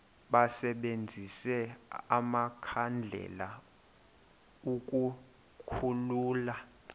basebenzise amakhandlela ukukhulula